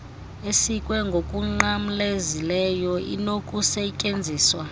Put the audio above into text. esikwe ngokunqamlezileyo inokusetyenziswa